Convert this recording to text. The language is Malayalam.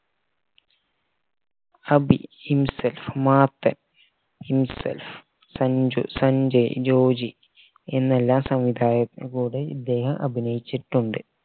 അഭി മർത്തൻ സഞ്ജു സഞ്ജയ് ജോജി എന്നെല്ലാം സംവിധായകരുടെ കൂടെയും ഇദ്ദേഹം അഭിനയിച്ചിട്ടുണ്ട്